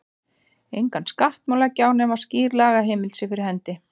Engan skatt má leggja á nema skýr lagaheimild sé fyrir hendi.